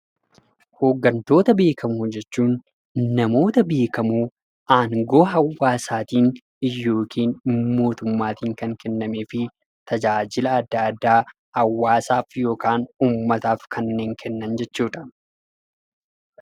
Hoggantoota beekamoo jechuun namoota aangoo hawwasattin yookiin motuummaatiin kennamefii tajajilaa adda addaaf hawwasaaf yookaan uummataaf kannen kennan jechuudha.